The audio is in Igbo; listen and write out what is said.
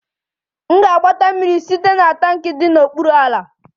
M ga-agbata mmiri site na tankị dị n'okpuru ala